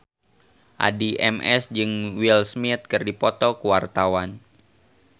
Addie MS jeung Will Smith keur dipoto ku wartawan